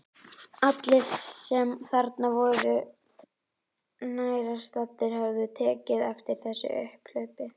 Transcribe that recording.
Allir sem þarna voru nærstaddir höfðu tekið eftir þessu upphlaupi.